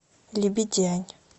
лебедянь